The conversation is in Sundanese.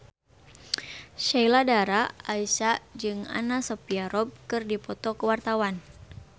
Sheila Dara Aisha jeung Anna Sophia Robb keur dipoto ku wartawan